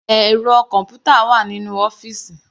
Ẹ̀rọ kọ̀npútà wà nínú ọ́fìsì.